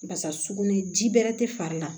Basa sugunin ji bɛrɛ tɛ fari la